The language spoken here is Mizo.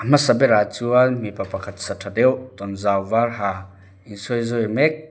hmasa berah chuan mipa pakhat sa tha deuh tawnzau var ha insawizawi mek--